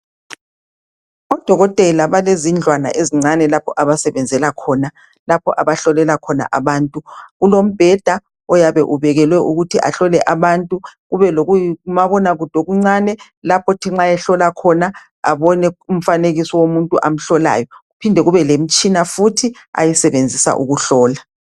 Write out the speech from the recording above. Odokotela balezindlwana ezincane lapho abasebenzela khona lapho abahlolela khona. Kulombheda oyabe ubekelwe ukuthi ahlole abantu kubelomabonakude okuncane lapho othi nxa behlola khona abone umfanekiso womuntu amhlolayo. Kuphinde kube lemitshina futhi ayisebenzisa ukuhlola.